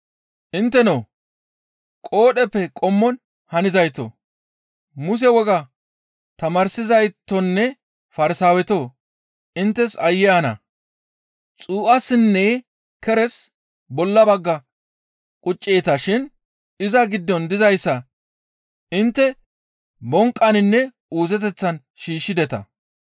«Intteno qoodheppe qommon hanizaytoo, Muse wogaa tamaarsizaytonne Farsaawetoo! Inttes aayye ana! Xuu7assinne keres bolla bagga qucceeta shin iza giddon dizayssa intte bonqqaninne uuzeteththan shiishshideta.